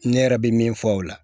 Ne yɛrɛ bɛ min fɔ o la